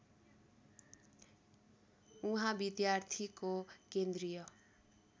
उहाँ विद्यार्थीको केन्द्रीय